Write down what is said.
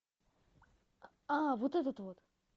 а вот этот вот